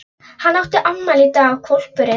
Hann átti afmæli í dag og hvolpurinn